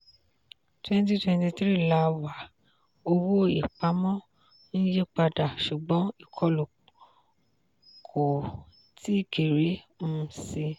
twenty twenty three la wà owó-ìpamọ́ ń yí padà ṣùgbọ́n ìkọlù kò tíì kéré um síi.